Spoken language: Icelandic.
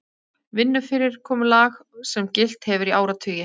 Vinnufyrirkomulag sem gilt hefur í áratugi